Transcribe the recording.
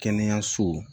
Kɛnɛyaso